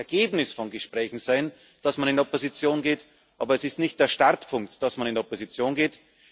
Es kann das Ergebnis von Gesprächen sein, dass man in die Opposition geht, aber es ist nicht der Startpunkt, dass man in die Opposition geht.